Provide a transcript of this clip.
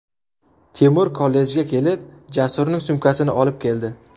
Temur kollejga kelib, Jasurning sumkasini olib keldi.